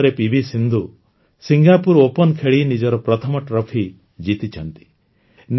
ଏଇ ମାସରେ PV Sindhu Singapore Open ଖେଳି ନିଜର ପ୍ରଥମ ଟ୍ରଫି ଜିତିଛନ୍ତି